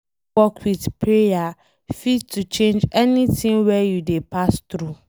Hardwork with prayer fit to change anything wey you dey pass through